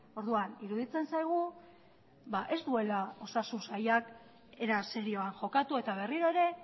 orduan iruditzen zaigu ez duela osasun sailak era serioan jokatu eta berriro ere